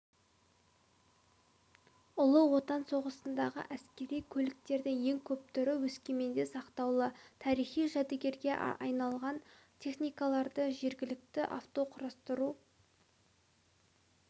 ұлы отан соғысындағы әскери көліктердің ең көп түрі өскеменде сақтаулы тарихи жәдігерге айналған техникаларды жергілікті автоқұрастыру